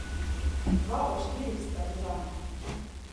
Dva od štirih sta bila.